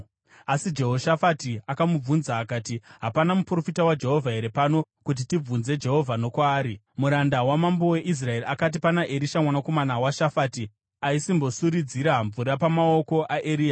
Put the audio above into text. Asi Jehoshafati akamubvunza akati, “Hapana muprofita waJehovha here pano, kuti tibvunze Jehovha nokwaari?” Muranda wamambo weIsraeri akati, “Pana Erisha mwanakomana waShafati. Aisimbosuridzira mvura pamaoko aEria.”